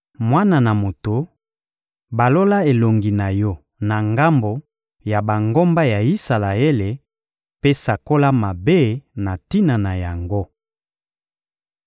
«Mwana na moto, balola elongi na yo na ngambo ya bangomba ya Isalaele mpe sakola mabe na tina na yango.